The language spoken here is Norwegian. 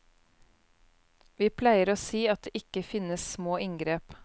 Vi pleier å si at det ikke finnes små inngrep.